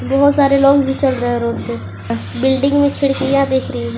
बहुत सारे लोग भी चल रहे है रोड पे बिल्डिंग में खिड़कियां भी दिख रही है।